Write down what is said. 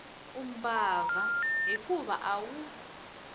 u mbabva hikuva a wu